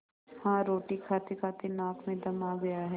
हाँ रोटी खातेखाते नाक में दम आ गया है